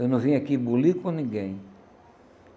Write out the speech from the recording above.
Eu não vim aqui bulir com ninguém.